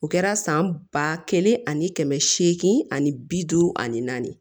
O kɛra san ba kelen ani kɛmɛ seegin ani bi duuru ani naani